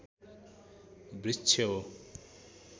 वृक्ष हो